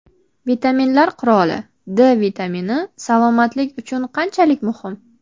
Vitaminlar qiroli: D vitamini salomatlik uchun qanchalik muhim?.